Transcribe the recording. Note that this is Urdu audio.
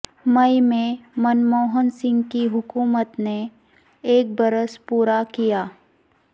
مئی میں منموہن سنگھ کی حکومت نے ایک برس پورا کیا